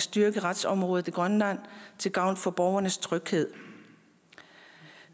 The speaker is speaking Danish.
styrke retsområdet i grønland til gavn for borgernes tryghed